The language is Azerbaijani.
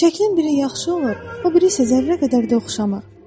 Şəklin biri yaxşı olur, o biri isə zərrə qədər də oxşamır.